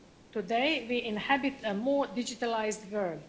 Today we inhabit a more digitalised world.